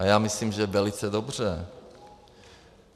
A já myslím, že velice dobře.